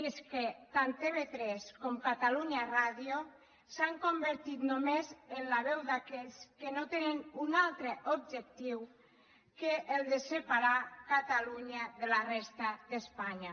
i és que tant tv3 com catalunya ràdio s’han convertit només en la veu d’aquells que no tenen un altre objectiu que el de separar catalunya de la resta d’espanya